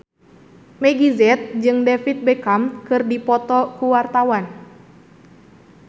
Meggie Z jeung David Beckham keur dipoto ku wartawan